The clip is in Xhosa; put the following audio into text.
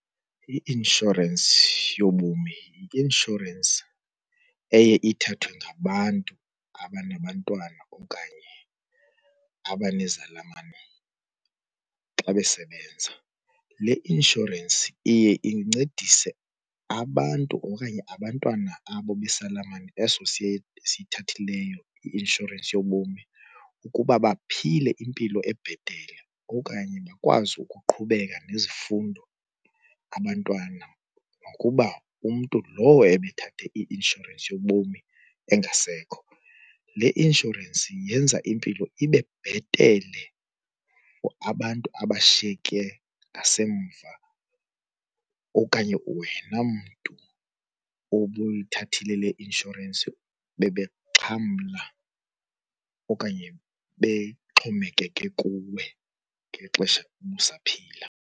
I-inshorensi yobomi yi-inshorensi eye ithathwe ngabantu abanabantwana okanye abanezalamane xa besebenza. Le inshorensi iye incedise abantu okanye abantwana abo besalamane eso siyithathe leyo i-inshorensi yobomi ukuba baphile impilo ebhetele okanye bakwazi ukuqhubeka nezifundo abantwana zam nokuba umntu lowo ebethathe i-inshorensi yobomi engasekho. Le inshorensi yenza impilo ibe bhetele for abantu abashiyeke ngasemva okanye wena mntu obuyithathile le inshorensi bebengxamla okanye bexhomekeke kuwe ngexesha ubusaphila.